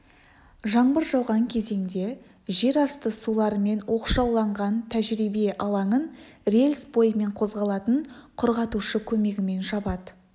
жаңбыр жауған кезеңде жер асты суларымен оқшауланған тәжірибе алаңын рельс бойымен қозғалатын құрғатушы көмегімен жабады